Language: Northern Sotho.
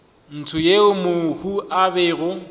ntsho yeo mohu a bego